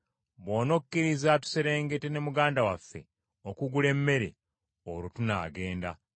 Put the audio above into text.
Bw’onokkiriza tuserengete ne muganda waffe okugula emmere, olwo tunaagenda.